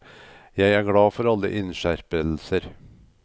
Jeg er glad for alle innskjerpelser.